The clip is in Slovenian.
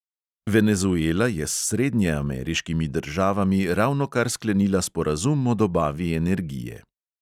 Venezuela je s srednjeameriškimi državami ravnokar sklenila sporazum o dobavi energije.